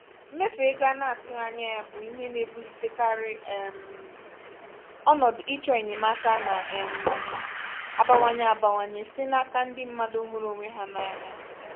mmefu ego ana-atụghị anya bụ ihe na-ebulitekarị um ọnọdụ ịchọ enyemaka na um abawanye abawanye site n'aka ndị mmadụ hụrụ onwe ha n'anya.